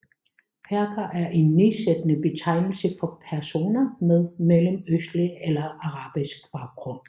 Perker er en nedsættende betegnelse for personer med mellemøstlig eller arabisk baggrund